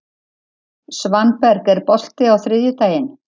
Svanberg, er bolti á þriðjudaginn?